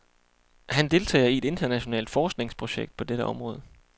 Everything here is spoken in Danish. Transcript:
Han deltager i et internationalt forskningsprojekt på dette område.